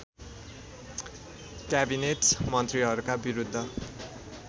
cabinet मन्त्रीहरूका विरुद्ध